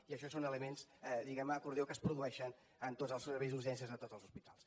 i això són elements diguem ne acordió que es produeixen en tots els serveis d’urgències de tots els hospitals